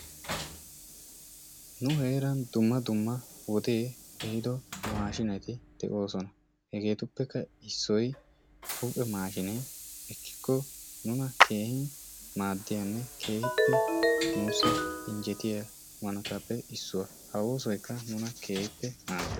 Nu heeran dumma dumma wodee ehiido maashiineti de"oosona hegeetuppekka issoyi huuphe maashiiniya ekkikko nuna keehippe maaddiyanne keehippe nuussi injjetiya hanotaappe issuwa. Ha oosoyikka nuna keehippe maaddana....